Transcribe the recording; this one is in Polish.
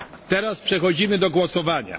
Teraz przechodzimy do głosowania.